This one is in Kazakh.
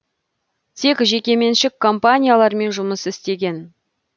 тек жекеменшік компаниялармен жұмыс істеген